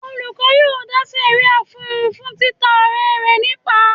Olùkọ́ yóò dá sẹ̀ríà fún un fún títa ọ̀rẹ́ rẹ̀ nípàá.